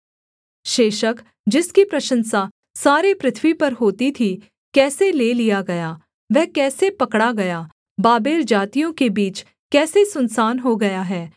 शेशक जिसकी प्रशंसा सारे पृथ्वी पर होती थी कैसे ले लिया गया वह कैसे पकड़ा गया बाबेल जातियों के बीच कैसे सुनसान हो गया है